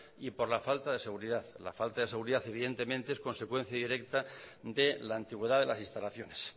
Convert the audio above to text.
y por la falta de seguridad la falta de seguridad es consecuencia directa de la antigüedad de las instalaciones